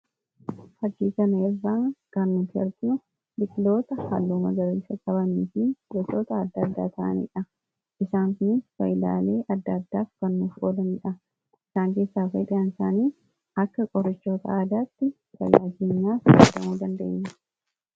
faggiitanaerraa gaannati arjuu dhiqloota halluma garriisa qabamniifii becoota adda addaa ta'aniidha isaanni baylaalii adda addaaf kannoof olaniidha isaan keessaa fedi'aansaanii akka qorichoota aadaatti sayyaagiinaaf aadamuu dandeenya